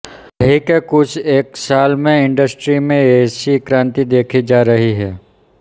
हाल ही के कुछ एक सालो में इंडस्ट्री में ऐसी क्रांति देखी जा रही है